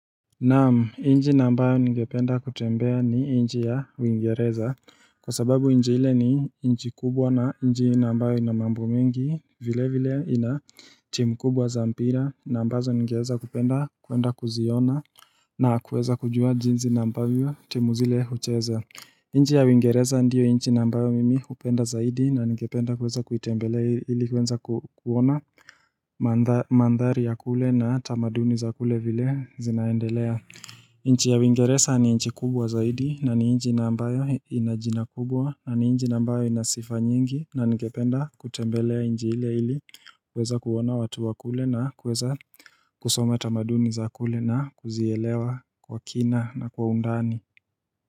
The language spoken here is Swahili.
Namu inji na ambayo ningependa kutembea ni inji ya uingereza Kwa sababu inji hile ni inji kubwa na inji naambayo inamambo mengi vile vile ina team kubwa za mpira na ambazo ningeweza kupenda kuenda kuziona na kuweza kujua jinzi naambavyo team zile ucheza inji ya uingereza ndiyo inji naambayo mimi upenda zaidi na ningependa kuweza kuitembelea ili kuweza kuona Mandhari ya kule na tamaduni za kule vile zinaendelea nchi ya uingeresa ni nchi kubwa zaidi na ni inji naambayo inajina kubwa na ni inji naambayo inasifa nyingi na ningependa kutembelea inji ile ili kuweza kuona watu wa kule na kuweza kusoma tamaduni za kule na kuzielewa kwa kina na kwa undani.